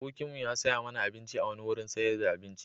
Abokimu ya saya mana abinci a wani wurin sayar da abinci.